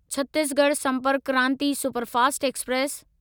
Chhattisgarh Sampark Kranti superfast express